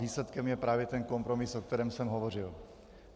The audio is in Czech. Výsledkem je právě ten kompromis, o kterém jsem hovořil.